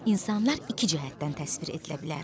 İnsanlar iki cəhətdən təsvir edilə bilər.